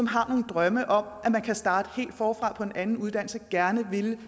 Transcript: har en drøm om at man kan starte helt forfra på en anden uddannelse og gerne helt vil